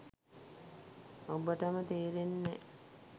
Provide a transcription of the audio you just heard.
ඔබටම තේරෙන්නේ නෑ